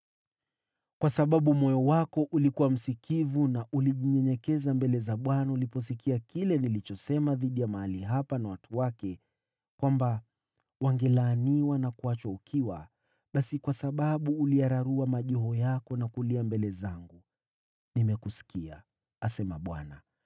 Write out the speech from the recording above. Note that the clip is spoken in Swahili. Kwa kuwa moyo wako ulikuwa msikivu na ulijinyenyekeza mbele za Bwana uliposikia kile nilichosema dhidi ya mahali hapa na watu wake, kwamba wangelaaniwa na kuachwa ukiwa, basi kwa sababu uliyararua mavazi yako na kulia mbele zangu, nimekusikia, asema Bwana .